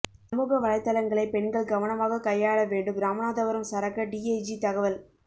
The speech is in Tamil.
சமூக வலைத்தளங்களை பெண்கள் கவனமாக கையாள வேண்டும் ராமநாதபுரம் சரக டிஐஜி தகவல்